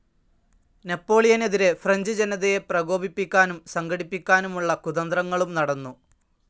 നെപ്പോളിയനെതിരെ French ജനതയെ പ്രകോപിപ്പിക്കാനും സംഘടിപ്പിക്കാനുമുള്ള കുതന്ത്രങ്ങളും നടന്നു.